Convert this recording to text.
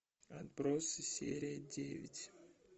отбросы серия девять